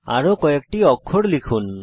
আরো কয়েকটি অক্ষর লিখুন